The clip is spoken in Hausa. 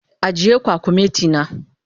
Agiye kwakumeti na.